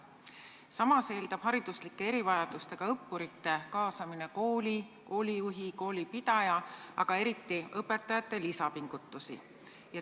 Samas eeldab hariduslike erivajadustega õppurite kaasamine kooli, koolijuhi, koolipidaja, aga eriti õpetajate lisapingutusi.